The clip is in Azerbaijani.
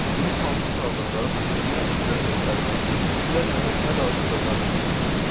Günün hansı saatında nə iş görəcəklərini, kimlərlə nə danışacaqlarını bilirlər.